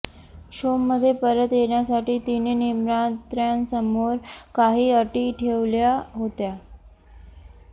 शोमध्ये परत येण्यासाठी तिने निर्मात्यांसमोर काही अटी ठेवल्या होत्या